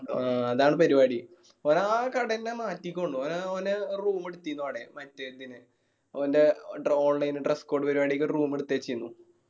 ആ അതാണ് പെരുവാടി. ഓന് ആ കട എന്നെ മാറ്റിക്കുന്നു ഓന് ഓനാ room എടുത്തിനു അവിടെ മറ്റേ ഇതിന് ഓന്റെ online dress code പരുവാടിക്കൊരു room എടുത്തുവെച്ചിരുന്ന്